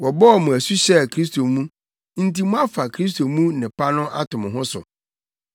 Wɔbɔɔ mo asu hyɛɛ Kristo mu nti moafa Kristo mu nnepa no ato mo ho so.